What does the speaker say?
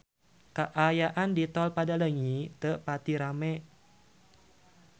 Kaayaan di Tol Padaleunyi teu pati rame